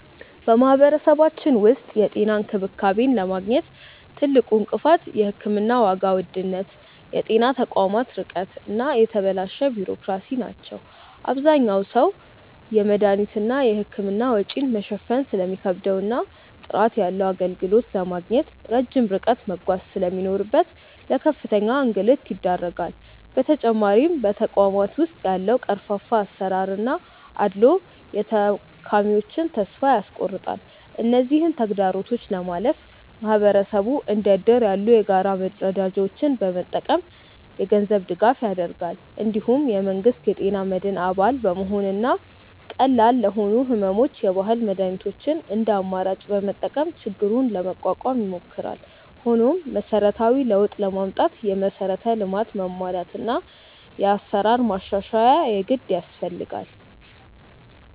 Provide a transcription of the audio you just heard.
በማህበረሰባችን ውስጥ የጤና እንክብካቤን ለማግኘት ትልቁ እንቅፋት የሕክምና ዋጋ ውድነት፣ የጤና ተቋማት ርቀት እና የተበላሸ ቢሮክራሲ ናቸው። አብዛኛው ሰው የመድኃኒትና የሕክምና ወጪን መሸፈን ስለሚከብደውና ጥራት ያለው አገልግሎት ለማግኘት ረጅም ርቀት መጓዝ ስለሚኖርበት ለከፍተኛ እንግልት ይዳረጋል። በተጨማሪም በተቋማት ውስጥ ያለው ቀርፋፋ አሰራርና አድልዎ የታካሚዎችን ተስፋ ያስቆርጣል። እነዚህን ተግዳሮቶች ለማለፍ ማህበረሰቡ እንደ እድር ያሉ የጋራ መረዳጃዎችን በመጠቀም የገንዘብ ድጋፍ ያደርጋል። እንዲሁም የመንግስት የጤና መድን አባል በመሆንና ቀላል ለሆኑ ሕመሞች የባህል መድኃኒቶችን እንደ አማራጭ በመጠቀም ችግሩን ለመቋቋም ይሞክራል። ሆኖም መሰረታዊ ለውጥ ለማምጣት የመሠረተ ልማት መሟላትና የአሰራር ማሻሻያ የግድ ያስፈልጋል።